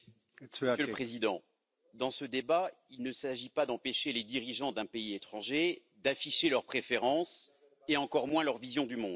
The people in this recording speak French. Monsieur le Président, dans ce débat, il ne s'agit pas d'empêcher les dirigeants d'un pays étranger d'afficher leurs préférences et, encore moins, leur vision du monde.